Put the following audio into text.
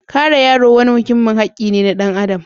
Kare yaro wani muhimmin hakki ne na ɗan adam.